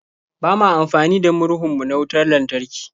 Ba ma amfani da murhun mu na wutar lantarki.